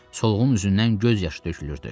Solğun üzündən göz yaşı tökülürdü.